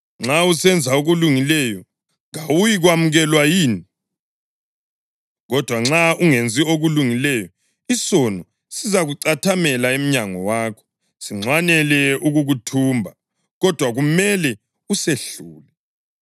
Nxa usenza okulungileyo, kawuyikwamukelwa yini? Kodwa nxa ungenzi okulungileyo, isono sikucathamele emnyango wakho; sinxwanele ukukuthumba, kodwa kumele usehlule.”